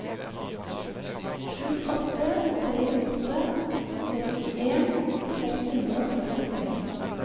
sju åtte tre åtte trettien seks hundre og førtitre